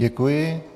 Děkuji.